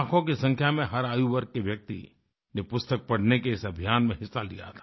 लाखों की संख्या में हर आयु वर्ग के व्यक्ति ने पुस्तकें पढ़ने के इस अभियान में हिस्सा लिया था